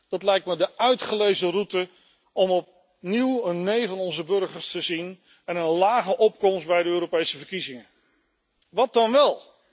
Dat lijkt me de uitgelezen route om opnieuw een nee van onze burgers en een lage opkomst bij de Europese verkiezingen te zien. Wat dan wel?